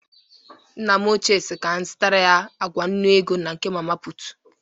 Nne m ochie si ka m zụtara ya agwa nnụ ego na nke mama pụtụ